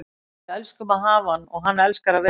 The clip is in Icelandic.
Við elskum að hafa hann og hann elskar að vera hér.